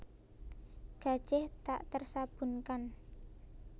Gajih tak tersabunkan